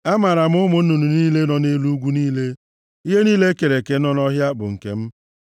Amaara m ụmụ nnụnụ niile nọ nʼelu ugwu niile, ihe niile e kere eke nọ nʼọhịa bụ nke m.